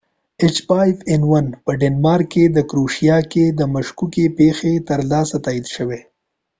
په دینمارک او کروشیا کې د h5n1 مشکوکې پیښې لا تراوسه تائید شوې ندي